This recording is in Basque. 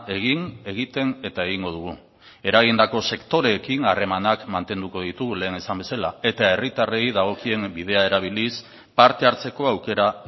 egin egiten eta egingo dugu eragindako sektoreekin harremanak mantenduko ditugu lehen esan bezala eta herritarrei dagokien bidea erabiliz parte hartzeko aukera